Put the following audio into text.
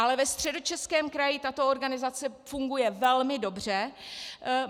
Ale ve Středočeském kraji tato organizace funguje velmi dobře.